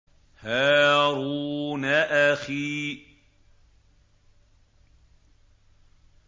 هَارُونَ أَخِي